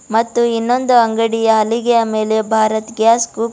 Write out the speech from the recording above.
ಮತ್ತು ಇನ್ನೊಂದು ಅಂಗಡಿಯ ಹಲಿಗೆಯ ಮೇಲೆ ಭಾರತ್ ಗ್ಯಾಸ್ --